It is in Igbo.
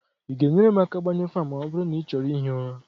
ị ga-enyere m aka gbañụọ ​​​​Fan ma ọ bụrụ na ị chọrọ ihi ụra?